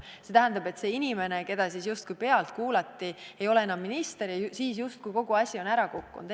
See ei tähenda seda, et kui see inimene, keda justkui pealt kuulati, ei ole enam minister, siis on justkui kogu probleem ära kadunud.